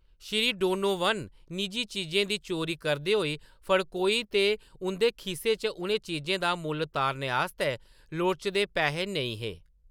Shri Donovan Nicky चीजें दी चोरी करदे होई फड़कोए ते उंʼदे खीसे च उ'नें चीजें दा मुल्ल तारने आस्तै लोड़चदे पैहे नेईं हे।